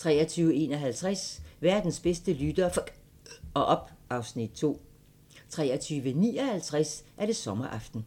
23:51: Verdens bedste lyttere f*cker op (Afs. 2) 23:59: Sommeraften